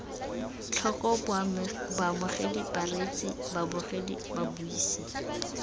tlhoko baamogedi bareetsi babogedi babuisi